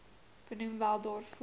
benoem wel daarvoor